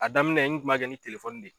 A daminɛ n kuma kɛ ni telefɔni de ye.